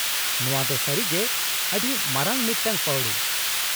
-ᱱᱚᱶᱟ ᱫᱚ ᱥᱟᱹᱨᱤᱜᱮ ᱟᱹᱰᱤ ᱢᱟᱨᱟᱝ ᱢᱤᱫᱴᱟᱝ ᱯᱟᱹᱣᱲᱤ !